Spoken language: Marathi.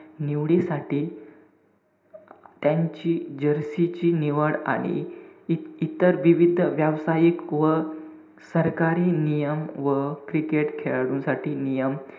निवडीसाठी त्यांची jersey ची निवड आणि इ~ इतर विविध व्यावसायिक व सरकारी नियम व cricket खेळाडूंसाठी नियम,